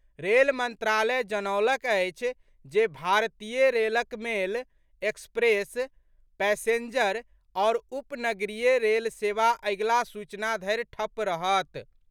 Rail मंत्रालय जनौलक अछि जे भारतीय रेलक मेल, एक्सप्रेस, पैसेंजर आओर उप नगरीय रेल सेवा अगिला सूचना धरि ठप्प रहत।